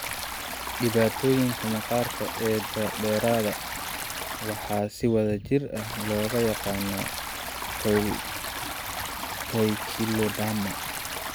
Dhibaatooyinkan maqaarka ee daba-dheeraada waxaa si wada jir ah loogu yaqaanaa poikiloderma.